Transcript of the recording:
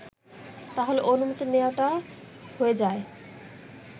তাহলে অনুমতি নেয়াটা হয়ে যায়